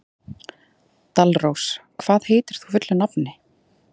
Dalrós, hvað heitir þú fullu nafni?